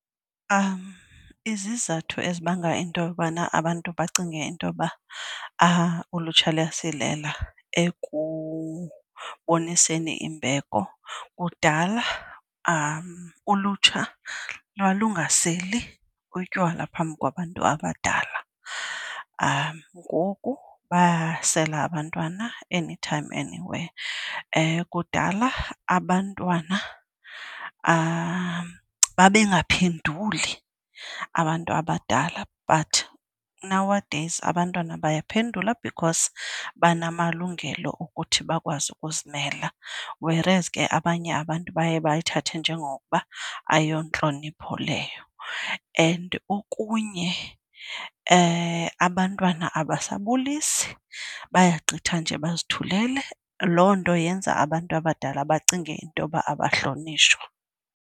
Izizathu ezibanga into yokubana abantu bacinge intoba ulutsha luyasilela ekuboniseni imbeko, kudala ulutsha lwalungaseli utywala phambi kwabantu abadala. Ngoku bayasela abantwana anytime, anywhere. Kudala abantwana babengaphenduli abantu abadala but nowadays abantwana bayaphendula because banamalungelo okuthi bakwazi ukuzimela, whereas ke abanye abantu baye bayithathe njengokuba ayontlonipho leyo. And okunye abantwana abasabulisi, bayagqitha nje bazithulele. Loo nto yenza abantu abadala bacinge intoba abahlonitshwa.